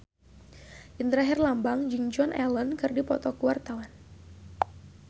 Indra Herlambang jeung Joan Allen keur dipoto ku wartawan